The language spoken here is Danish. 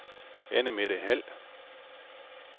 Annemette Hald